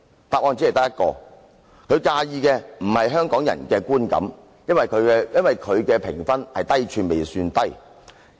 答案只有一個，就是他介意的不是香港人的觀感，可見他的評分是"低處未算低"。